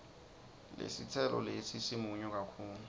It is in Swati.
lesitselo lesi simunyu kakhulu